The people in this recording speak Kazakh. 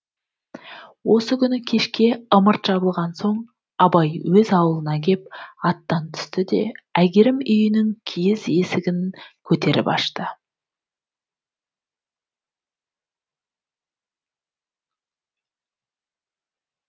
осы күні кешке ымырт жабылған соң абай өз аулына кеп аттан түсті де әйгерім үйінің киіз есіхін көтеріп ашты